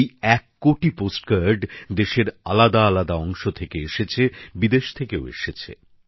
এই এক কোটি পোস্ট কার্ড দেশের আলাদাআলাদা অংশ থেকে এসেছে বিদেশ থেকেও এসেছে